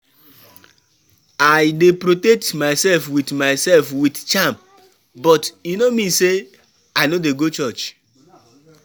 I dey protect myself with myself with charm but e no mean say I no dey go church.